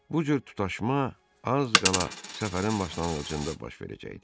Bu cür tutaşma az qala səfərin başlanğıcında baş verəcəkdi.